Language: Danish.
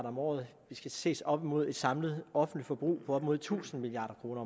om året det skal ses op imod et samlet offentligt forbrug på op mod tusind milliard kroner